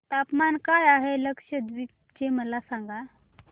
तापमान काय आहे लक्षद्वीप चे मला सांगा